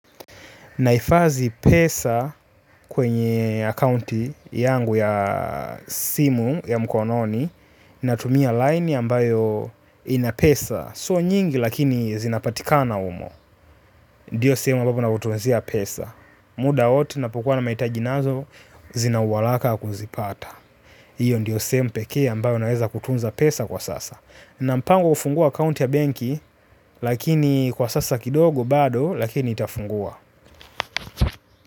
Naifadhi pesa kwenye akounti yangu ya simu ya mkononi. Natumia line ambayo inapesa. Sio nyingi lakini zinapatika na humo. Ndio sehemu abapo nakutunzia pesa. Muda wowote ninapokuwa na maitaji nazo zina uwalaka wa kuzipata. Hiyo ndio sehemu pekee ambayo naweza kutunza pesa kwa sasa. Nampango ufungua akounti ya benki lakini kwa sasa kidogo bado lakini itafungua.